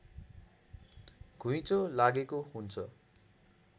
घुइँचो लागेको हुन्छ